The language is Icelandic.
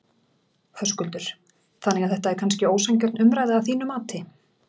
Höskuldur: Þannig að þetta er kannski ósanngjörn umræða að þínu mati?